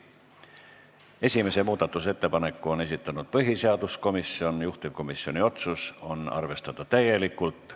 Esimese muudatusettepaneku on esitanud põhiseaduskomisjon, juhtivkomisjoni otsus on arvestada täielikult.